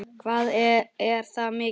Hvað er það mikið?